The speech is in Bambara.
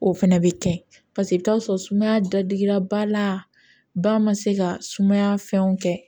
O fɛnɛ bɛ kɛ paseke i bɛ t'a sɔrɔ sumaya da digira ba la ba man se ka sumaya fɛnw kɛ